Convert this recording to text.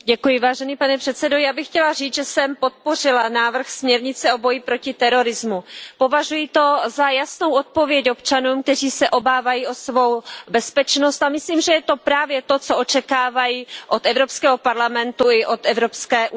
Pane předsedající, já bych chtěla říct, že jsem podpořila návrh směrnice o boji proti terorismu. Považuji to za jasnou odpověď občanům, kteří se obávají o svou bezpečnost, a myslím, že je to právě to, co očekávají od Evropského parlamentu i od Evropské unie.